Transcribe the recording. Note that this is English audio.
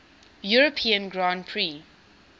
european grand prix